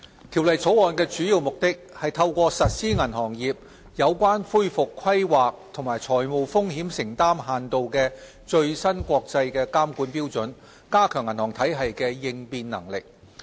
條例草案的主要目的，是透過實施銀行業有關恢復規劃及財務風險承擔限度的最新國際監管標準，加強銀行體系的應變能力。